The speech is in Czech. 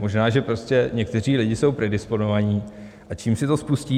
Možná že prostě někteří lidi jsou predisponováni, a čím si to spustí?